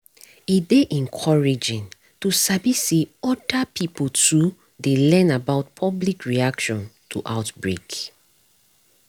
e dey encouraging to sabi say other pipo too dey learn about public reaction to outbreak